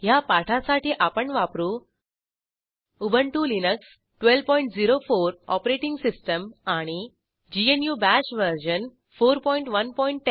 ह्या पाठासाठी आपण वापरू उबंटु लिनक्स 1204 ओएस आणि ग्नू बाश वर्जन 4110